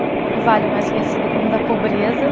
O vale mais conhecido como da pobreza.